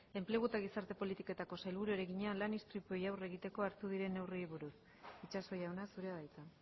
enplegu eta gizarte politiketako sailburuari egina lan istripuei aurre egiteko hartu diren neurriei buruz itxaso jauna zurea da hitza